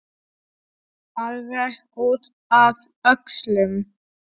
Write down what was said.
Alveg út að öxlum!